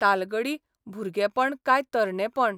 तालगडी भुरगेपण काय तरणेपण?